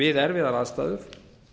við erfiðar aðstæður